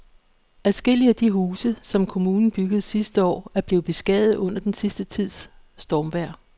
Adskillige af de huse, som kommunen byggede sidste år, er blevet beskadiget under den sidste tids stormvejr.